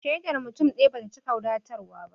Shaidar mutum ɗaya bata cika wadatarwa ba